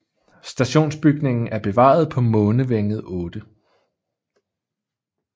Stationsbygningen er bevaret på Månevænget 8